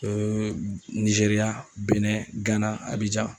Ee Nizeriya, Benɛ ,Gana , Abijan.